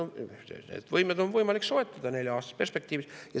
Ma väidan, et need võimed on võimalik soetada nelja aasta perspektiivis.